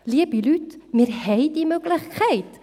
Liebe Leute, wir haben diese Möglichkeit.